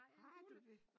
Har du det?